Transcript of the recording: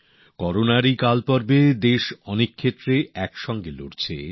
এই করোনার সময়ে দেশ অনেক দিক থেকেই একসঙ্গে লড়াই চালাচ্ছে